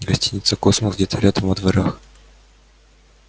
гостиница космос где-то рядом во дворах